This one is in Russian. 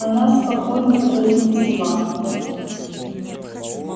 она спокойно произнесла